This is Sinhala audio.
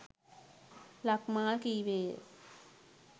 ලක්මාල් කීවේය.